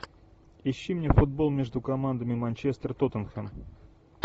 ищи мне футбол между командами манчестер тоттенхэм